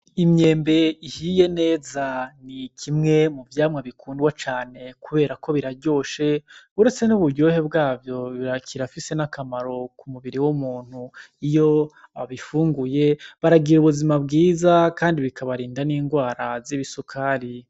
Imyembe ihiye neza ni kimwe muvyamwa bikundwa cane kuberako biraryoshe uretse n' uburyohe bwavyo kirafise n' akamaro kumubiri w' umuntu iyo abifunguye baragira ubuzima bwiza kandi bikabarinda n' ingwara z'ibisukari.